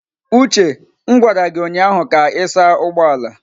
Uche m gwara gi ụnyahụ ka ị saa ụgbọ ala!